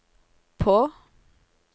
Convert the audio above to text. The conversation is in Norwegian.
på